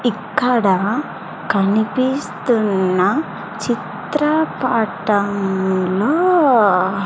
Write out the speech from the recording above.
ఇక్కడ కనిపిస్తున్న చిత్రపటంలో.